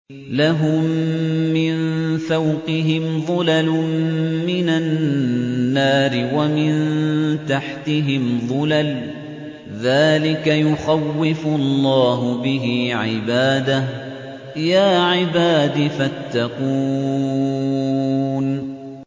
لَهُم مِّن فَوْقِهِمْ ظُلَلٌ مِّنَ النَّارِ وَمِن تَحْتِهِمْ ظُلَلٌ ۚ ذَٰلِكَ يُخَوِّفُ اللَّهُ بِهِ عِبَادَهُ ۚ يَا عِبَادِ فَاتَّقُونِ